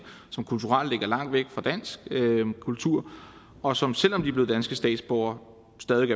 som kulturelt ligger langt væk fra dansk kultur og som selv om de er blevet danske statsborgere stadig